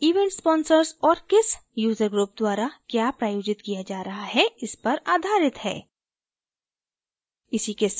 ये events sponsors और किस user group द्वारा क्या प्रायोजित किया जा रहा है इस पर आधारित हैं